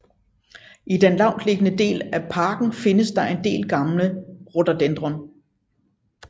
I den lavtliggende del af parken findes der en del gamle rhododendron